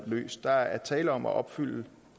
løst der er tale om at opfylde